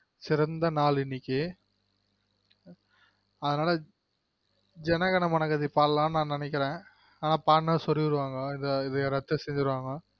சிறந்த நாள் இன்னைக்கு அதுனால ஜன கன மன கதி பாட்லானு நெனைக்கிறென் ஆனா பாட்னா சொருவிடுவாங்க இரத்தம் சிந்திடுவாங்க